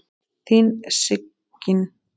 Þín Sigyn.